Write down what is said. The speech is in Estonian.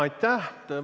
Aitäh!